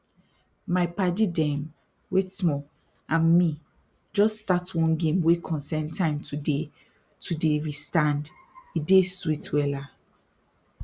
my padi dem wait small and me jus start one game wey concern time to dey to dey restand e dey sweet wella